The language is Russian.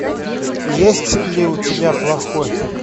есть ли у тебя плохой